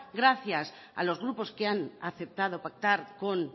gracias a los grupos que han aceptado pactar con